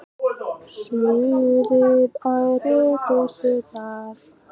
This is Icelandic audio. Suðið ærir hlustirnar.